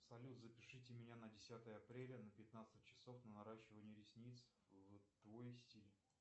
салют запишите меня на десятое апреля на пятнадцать часов на наращивание ресниц в твой стиль